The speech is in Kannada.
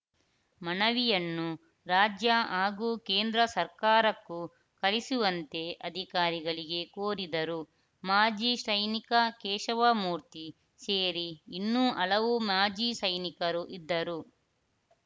ಮನವಿಯನ್ನು ರಾಜ್ಯ ಹಾಗೂ ಕೇಂದ್ರ ಸರ್ಕಾರಕ್ಕೂ ಕಳಿಸುವಂತೆ ಅಧಿಕಾರಿಗಳಿಗೆ ಕೋರಿದರು ಮಾಜಿ ಸೈನಿಕ ಕೇಶವಮೂರ್ತಿ ಸೇರಿ ಇನ್ನೂ ಹಲವು ಮಾಜಿ ಸೈನಿಕರು ಇದ್ದರು